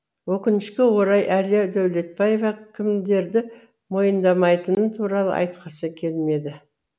өкінішке орай әлия дәулетбаева кімдерді мойындамайтыны туралы айтқысы келмеді